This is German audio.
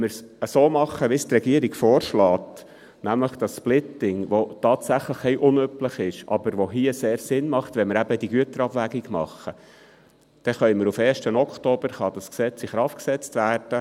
Wenn wir es so machen, wie es die Regierung mit dem Splitting vorschlägt, welches tatsächlich ein wenig unüblich, aber hier sehr sinnvoll ist, wenn wir eben diese Güterabwägung machen, dann kann das Gesetz auf den 1. Oktober in Kraft gesetzt werden.